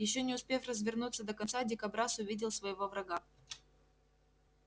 ещё не успев развернуться до конца дикобраз увидел своего врага